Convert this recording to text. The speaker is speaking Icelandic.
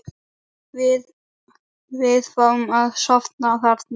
Við fáum að sofa þarna.